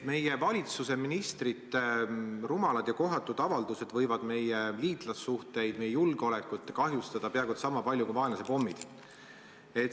Meie valitsuse ministrite rumalad ja kohatud avaldused võivad meie liitlassuhteid, meie julgeolekut kahjustada peaaegu et sama palju kui vaenlase pommid.